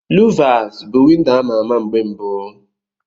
Luvasi bụ windo a ma-ama mgbe mbu.